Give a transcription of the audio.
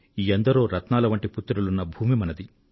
ఎందరో రత్నాల వంటి పుత్రులు ఉన్న భూమి మనది